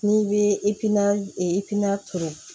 N'i bɛ i pina i tina turu